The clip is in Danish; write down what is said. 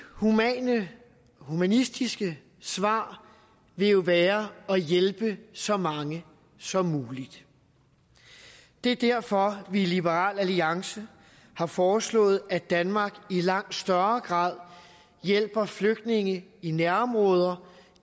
humanistiske svar vil jo være at hjælpe så mange som muligt det er derfor vi i liberal alliance har foreslået at danmark i langt større grad hjælper flygtninge i nærområder